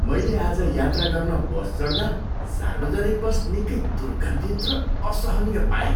मैले आज यात्रा गर्न बस चढ्दा सार्वजनिक बस निकै दुर्गन्धित र असहनीय पाएँ।